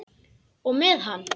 Og með hann.